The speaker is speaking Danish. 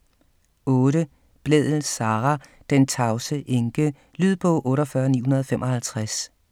8. Blædel, Sara: Den tavse enke Lydbog 48955